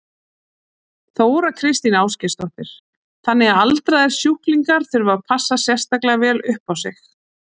Þóra Kristín Ásgeirsdóttir: Þannig að aldraðir sjúklingar þurfa að passa sérstaklega vel upp á sig?